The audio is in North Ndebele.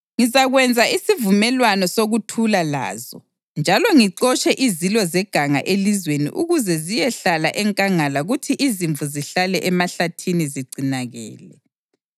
Ngizakwenza isivumelwano sokuthula lazo njalo ngixotshe izilo zeganga elizweni ukuze ziyehlala enkangala kuthi izimvu zihlale emahlathini zigcinakale.